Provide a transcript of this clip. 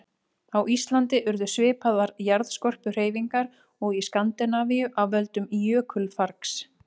Á Íslandi urðu svipaðar jarðskorpuhreyfingar og í Skandinavíu af völdum jökulfargs.